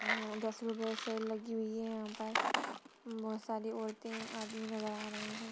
ऊ दस रुपये सेल लगी हैं यहाँ पर। बोहोत सारी औरतें आदमी नजर आ रहें हैं।